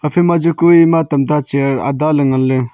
ephai ma chu kue tam ta chair ada ley ngan ley.